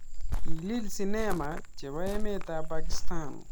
Kilil sinema chebo emet ap pakistan.